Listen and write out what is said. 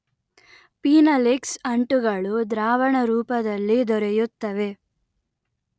phenolics ಅಂಟುಗಳು ದ್ರಾವಣರೂಪದಲ್ಲಿ ದೊರೆಯುತ್ತವೆ